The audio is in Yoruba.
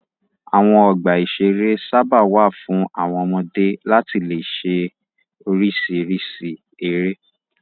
Àwọn ọgbà-ìṣeré sábà wà fún àwọn ọmọdé láti le ṣe oríṣiríṣi eré.